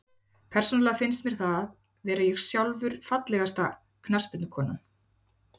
Persónulega finnst mér það vera ég sjálfur Fallegasta knattspyrnukonan?